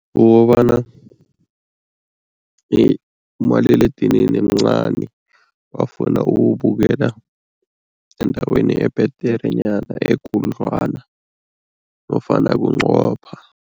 Kukobana umaliledinini mncani bafuna ukuwubukela endaweni ebhederenyana ekhudlwana nofana bunqopha.